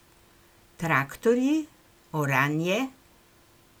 Traktorji, oranje?